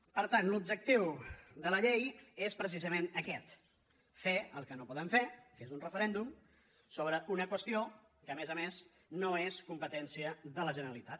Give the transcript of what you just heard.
per tant l’objectiu de la llei és precisament aquest fer el que no poden fer que és un referèndum sobre una qüestió que a més a més no és competència de la generalitat